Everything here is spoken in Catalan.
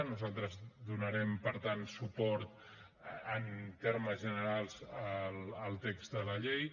nosaltres donarem per tant suport en termes generals al text de la llei